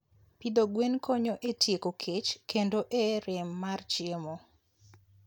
Pidho gwen konyo e tieko kech kendo e rem mar chiemo.